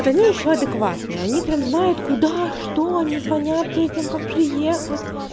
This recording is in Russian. вот они ещё адекватные они прям знает куда что они звонят этим как приехать